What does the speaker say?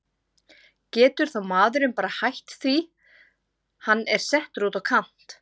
Getur þá maðurinn bara hætt því hann er settur út á kant?